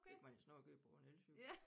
Det kan man jo snap køre på en elcykel